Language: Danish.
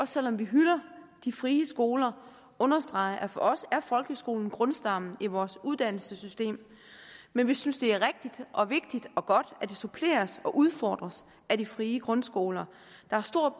selv om vi hylder de frie skoler understrege at for os er folkeskolen grundstammen i vores uddannelsessystem men vi synes det er rigtigt og vigtigt og godt at det suppleres og udfordres af de frie grundskoler der har stor